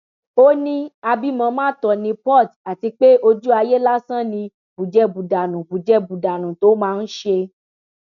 ó ní àbímọ má tó ní porté àti pé ojú ayé lásán ni bùjẹbùdánù bùjẹbùdánù tó máa ń ṣe